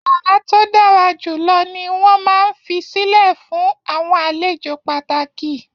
Yara to dára jù lọ ní wọn máa n fisilẹ fun àwọn àlejò pàtàkì.